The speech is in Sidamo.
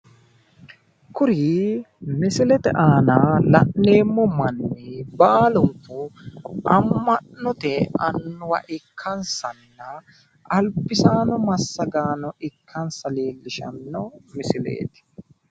Kuni misilete aana la'neemmo manni baalunku amma'note annuwa ikkansanna albisaano massagaano ikkansa leellishanno misileeti.